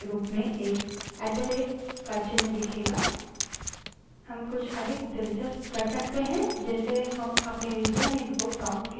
अब dollar चिन्ह के बजाय हमें prompt के रूप में एक at द rate का चिन्ह दिखेगा